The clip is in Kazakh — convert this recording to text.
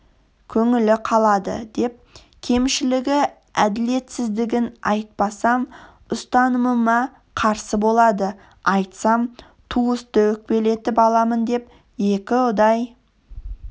көңілі қалады деп кемшілігі әділетсіздігін айтпасам ұстанымыма қарсы болады айтсам туысты өкпелетіп аламын деп екіұдай